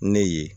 Ne ye